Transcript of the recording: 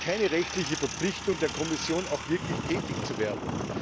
Es gibt keine rechtliche Verpflichtung der Kommission, auch wirklich tätig zu werden.